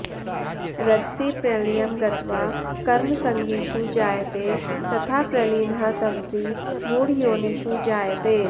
रजसि प्रलयं गत्वा कर्मसङ्गिषु जायते तथा प्रलीनः तमसि मूढयोनिषु जायते